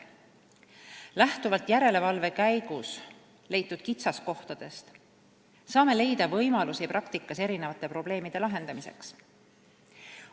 Lähtuvalt järelevalve käigus leitud kitsaskohtadest saame otsida võimalusi probleemide lahendamiseks praktikas.